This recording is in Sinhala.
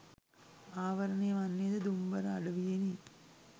ආවරණය වන්නේ ද දුම්බර අඩවියෙනි